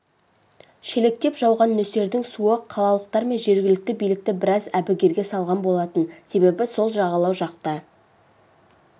шелектеп жауған нөсердің суы қалалықтар мен жергілікті билікті біраз әбігерге салған болатын себебі сол жағалау жақта